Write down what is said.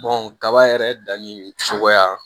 kaba yɛrɛ danni cogoya